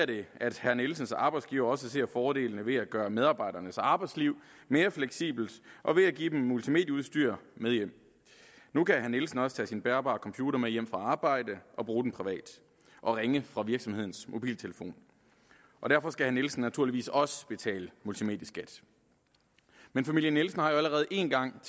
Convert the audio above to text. det at herre nielsens arbejdsgiver også ser fordelene ved at gøre medarbejdernes arbejdsliv mere fleksibelt og give dem multimedieudstyr med hjem nu kan herre nielsen også tage sin bærbare computer med hjem fra arbejde og bruge den privat og ringe fra virksomhedens mobiltelefon og derfor skal herre nielsen naturligvis også betale multimedieskat men familien nielsen har jo allerede én gang